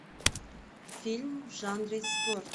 фильм в жанре спорт